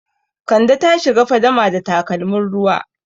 Kande ta shiga fadama da takalmin ruwa.